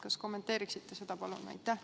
Kas kommenteeriksite seda, palun?